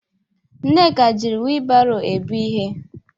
Nneka jiri wheelbarrow ebu ihe.